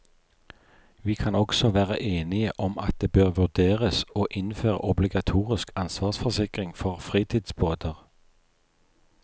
Vi kan også være enige om at det bør vurderes å innføre obligatorisk ansvarsforsikring for fritidsbåter.